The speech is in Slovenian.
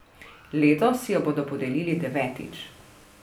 Letos jo bodo podelili devetič.